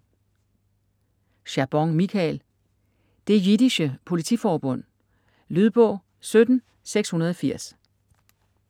Chabon, Michael: Det jiddische politiforbund Lydbog 17680